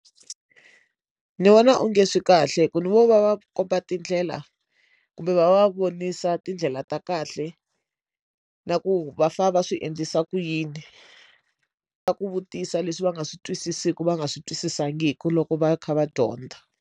Ni vona onge swi kahle ku ni vo va va komba tindlela kumbe va va vonisa tindlela ta kahle na ku va fanele va swi endlisa ku yini na ku vutisa leswi va nga swi twisisiku va nga swi twisisangiki loko va kha va dyondza.